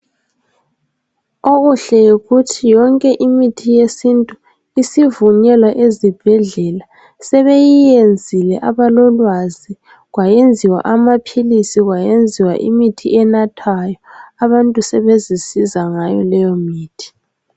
Okuhle yikuthi yonke imithi yesintu isivunyelwa ezibhedlela sebeyiyenzile abalolwazi kwenziwa amaphilisi kwenziwa imithi enathwayo abantu sebezinceda ngayo leyo mithi.